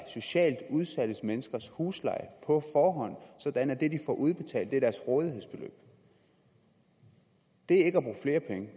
socialt udsatte menneskers husleje på forhånd så det de får udbetalt er deres rådighedsbeløb det